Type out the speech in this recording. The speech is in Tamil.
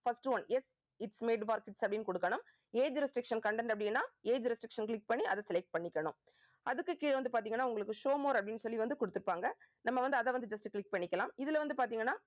first one yes its made for kids அப்படின்னு கொடுக்கணும் age restriction content அப்படின்னா age restriction click பண்ணி அதை select பண்ணிக்கணும். அதுக்கு கீழே வந்து பார்த்தீங்கன்னா உங்களுக்கு show more அப்படின்னு சொல்லி வந்து கொடுத்திருப்பாங்க. நம்ம வந்து அதை வந்து just click பண்ணிக்கலாம். இதுல வந்து பார்த்தீங்கன்னா